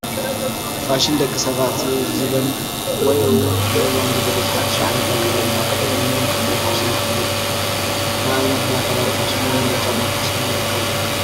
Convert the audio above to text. ፋሽን፡- ደቂ ሰባት ንዘበን ወይ እውን ንእዋን ዝገልፅ ሓዱሽ ዓይነት ኣከዳድና ክኽደኑ እንከለው ፋሽን ተኸዲኖም ንብሎም፡፡ ንኣብነት ናይ ክዳን ፋሽንን ናይ ጫማ ፋሽንን ይርከብዎም፡፡